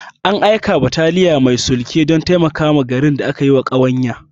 An aika da bataliya mai sulke don taimakawa garin da aka yiwa ƙawanya.